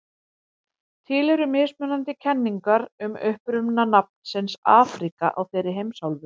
Til eru mismunandi kenningar um uppruna nafnsins Afríka á þeirri heimsálfu.